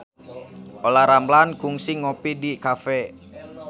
Olla Ramlan kungsi ngopi di cafe